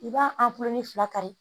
I b'a fila kari